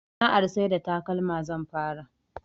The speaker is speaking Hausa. Sana'ar sai da takalma zan fara